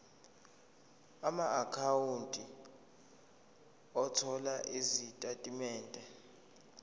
amaakhawunti othola izitatimende